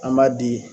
An b'a di